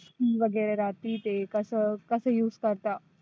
वगैरा ती ते कसं कसं use करता.